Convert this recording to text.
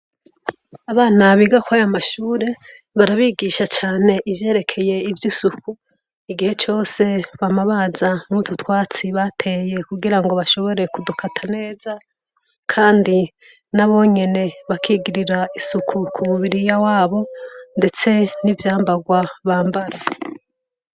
Abana biga ko aya mashure barabigisha cane ivyerekeye ivyo isuku igihe cose bamabaza nututwatsi bateye kugira ngo bashobore kudukata neza, kandi nabonyene bakigirira isuku ku mubiri ya wabo, ndetse n'ivyambarwa bambara.